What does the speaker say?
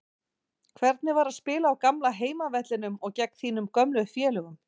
Hvernig var að spila á gamla heimavellinum og gegn þínum gömlu félögum?